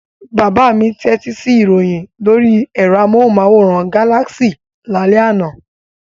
Bàbá mi tẹ́tí sí ìròyìn lórí ẹ̀rọ amóhùmáwòhán Galaxy lálẹ́ àná.